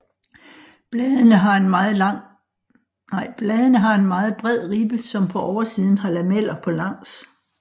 Bladene har en meget bred ribbe som på oversiden har lameller på langs